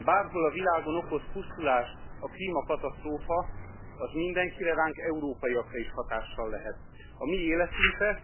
Bárhol a világon okoz pusztulást a klímakatasztrófa, az mindenkire, ránk, európaiakra is hatással lehet. A mi életünkre és az európai fajok fennmaradására is veszéllyel lehet.